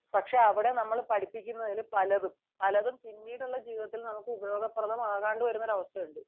പക്ഷെ അവിടെ നമ്മൾ പഠിപ്പിക്കുന്ന പലതും പിന്നീടുള്ള ജീവിതത്തിൽ നമുക്ക ഉപകാരപ്രദമാകാതെ വരുന്ന അവസ്ഥയുണ്ട്